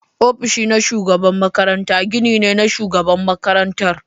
Ofishin shugaban makaranta gini ne na Shugaban Makarantar.